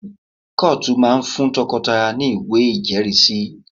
Kọ́ọ̀tù máa ń fún tọkọtaya ní ìwé ìjẹ́rìísí